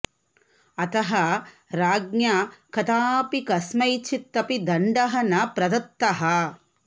अतः राज्ञा कदापि कस्मैचित् अपि दण्डः न प्रदत्तः